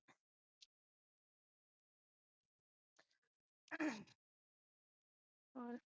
ਹੋਰ